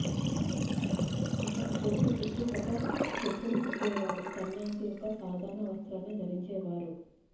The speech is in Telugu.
అతను కోర్టు చుట్టూ ఒక చెప్పులు కుట్టేవాడు సన్యాసి యొక్క సాధారణ వస్త్రాన్ని ధరించేవారు